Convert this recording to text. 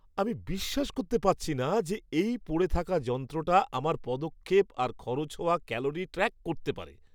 আমি বিশ্বাস করতে পারছি না যে এই পড়ে থাকা যন্ত্রটা আমার পদক্ষেপ আর খরচ হওয়া ক্যালোরি ট্র্যাক করতে পারে।